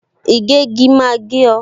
Ìgégi máa gé o